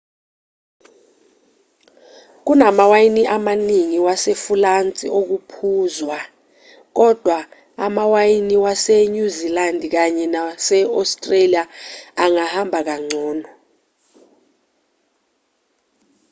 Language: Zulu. kunamawayini amaningi wasefulansi okuphuzwa kodwa amawayini wasenyuzilandi kanye nase-australia angahamba kangcono